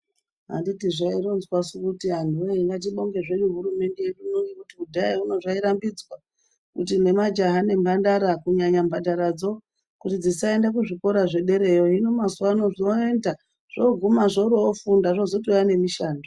Anditi zvaironzwasu kuti antu wee ngatibonge zvesu hurumende yedu ino ngekuti kudhaya Uno zvairambidzwa kuti nemajaya nemahandara kunyanya mhandaradzo kuti dzisaende kuzvikora zvedereyo hino mazuwa voenda zvoguma zvoroofunda zvozotouya nemushando.